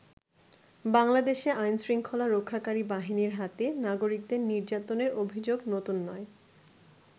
বাংলাদেশে আইন শৃঙ্খলা রক্ষাকারী বাহিনীর হাতে নাগরিকদের নির্যাতনের অভিযোগ নতুন নয়।